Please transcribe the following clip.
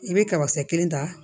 I bɛ kabasɛ kelen ta